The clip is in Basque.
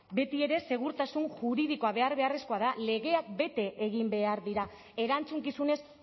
betiere segurtasun juridikoa behar beharrezkoa da legeak bete egin behar dira erantzukizunez